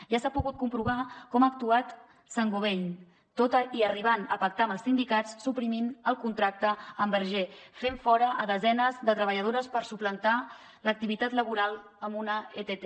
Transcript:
ja s’ha pogut comprovar com ha actuat saint gobain tot i arribant a pactar amb els sindicats suprimint el contracte amb bergé fent fora desenes de treballadores per suplantar l’activitat laboral amb una ett